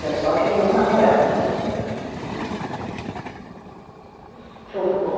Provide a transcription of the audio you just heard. Foi só aquele um namorado.